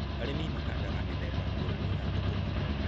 Arĩmi mahandaga mĩthemba ngũrani ya thũkũma.